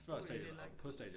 Uh det er lang tid